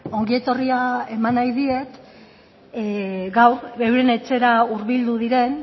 ongietorria eman nahi diet gaur euren etxera hurbildu diren